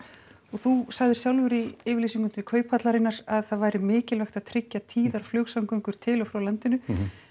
þú sagðir sjálfur í yfirlýsingunni til kauphallarinnar að það væri mikilvægt að tryggja tíðar flugsamgöngur til og frá landinu